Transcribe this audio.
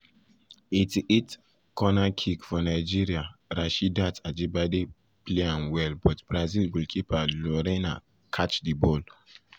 88’ corner kick for nigeria rasheedat ajibade play um am well but brazil goalkeeper lorena catch um di ball.